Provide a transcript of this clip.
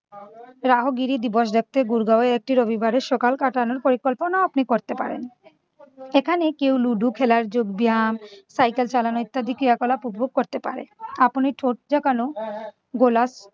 রাহোগিরি দিবস গুরগাও এ একটি রবিবার এর সকাল কাটানোর পরিকল্পনাও আপনি করতে পারেন। এখানে কেউ লুডু খেলার যোগব্যায়াম cycle চালানো ইত্যাদি ক্রিয়া-কলাপ উপভোগ করতে পারেন। আপনি ঠোঁট ঝাঁকানো গোলাপ